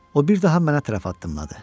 O bir daha mənə tərəf addımladı.